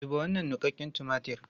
Zuba wannan niƙaƙƙen tumatir!